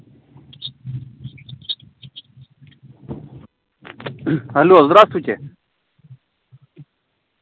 алло здравствуйте